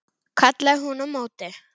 kallaði hún á móti.